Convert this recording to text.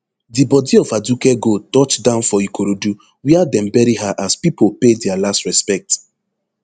di bodi of aduke gold touch down for ikorodu wia dem bury her as pipo pay dia last respect